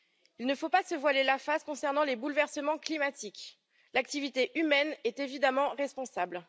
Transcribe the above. Il ne faut pas se voiler la face concernant les bouleversements climatiques l'activité humaine est évidemment responsable.